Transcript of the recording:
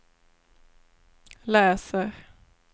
läser